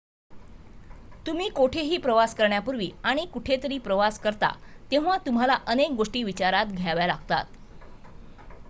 तुम्ही कोठेही प्रवास करण्यापूर्वी आणि कुठेतरी प्रवास करता तेव्हा तुम्हाला अनेक गोष्टी विचारात घ्याव्या लागतात